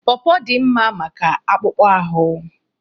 Pọrpọr dị mma maka akpụkpọ ahụ.